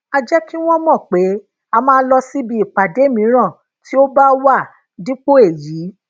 a jé kí wón mò pé a máa lọ sí ìpàdé míràn tí ó bá wá dípò èyí